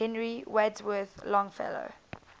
henry wadsworth longfellow